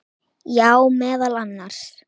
Já, meðal annars.